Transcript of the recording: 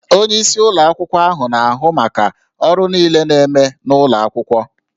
Onyeisi ụlọ akwụkwọ na-ahụ maka ọrụ niile na-eme n'ụlọ akwụkwọ